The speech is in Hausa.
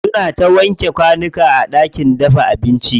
Suna ta wanke kwanuka a ɗakin dafa abinci.